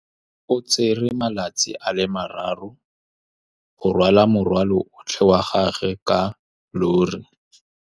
O tsere malatsi a le marraro go rwala morwalo otlhe wa gagwe ka llori.